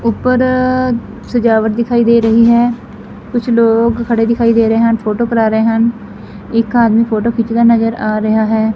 ਉਪਰ ਸਜਾਵਟ ਦਿਖਾਈ ਦੇ ਰਹੀ ਹੈ ਕੁਝ ਲੋਕ ਖੜੇ ਦਿਖਾਈ ਦੇ ਰਹੇ ਹਨ ਫੋਟੋ ਕਰਾ ਰਹੇ ਹਨ ਇੱਕ ਆਦਮੀ ਫੋਟੋ ਖਿੱਚਦਾ ਨਜ਼ਰ ਆ ਰਿਹਾ ਹੈ।